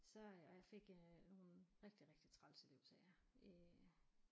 Så øh og jeg fik nogle rigtig rigtig trælse elevsager i